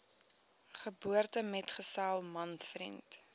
geboortemetgesel man vriend